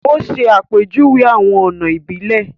O ṣe àpèjúwe awọn ọna ibilẹ